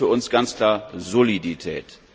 Und das ist für uns ganz klar Solidität.